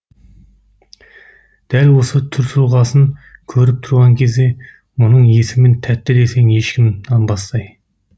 дәл осы түр тұлғасын көріп тұрған кезде мұның есімін тәтті десең ешкім нанбастай